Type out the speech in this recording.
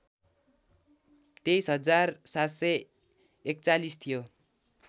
२३ हजार ७४१ थियो